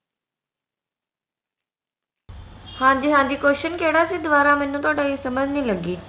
ਹਾਂਜੀ ਹਾਂਜੀ question ਕਿਹੜਾ ਸੀ ਦੁਆਰਾ ਮੈਨੂੰ ਥੋਡਾ ਇਹ ਸਮਝ ਨਹੀਂ ਲੱਗੀ